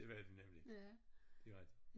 Det var de nemlig det rigtigt